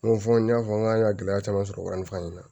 N ko fɔ n y'a fɔ n k'an ka gɛlɛya caman sɔrɔ wari in na